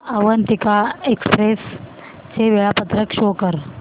Avantika express चे वेळापत्रक show कर